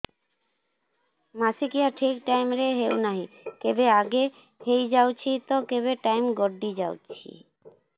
ମାସିକିଆ ଠିକ ଟାଇମ ରେ ହେଉନାହଁ କେବେ ଆଗେ ହେଇଯାଉଛି ତ କେବେ ଟାଇମ ଗଡି ଯାଉଛି